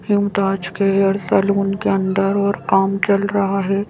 मुमताज के hair salon के अंदर कुछ काम चल रहा है।